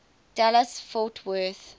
dallas fort worth